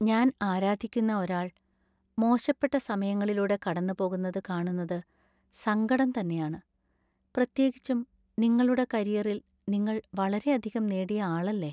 ഞാൻ ആരാധിക്കുന്ന ഒരാൾ മോശപ്പെട്ട സമയങ്ങളിലൂടെ കടന്നുപോകുന്നത് കാണുന്നത് സങ്കടം തന്നെയാണ്. പ്രത്യേകിച്ചും നിങ്ങളുടെ കരിയറിൽ നിങ്ങൾ വളരെയധികം നേടിയ ആളല്ലേ!